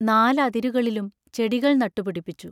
നാലതിരുകളിലും ചെടികൾ നട്ടുപിടിപ്പിച്ചു.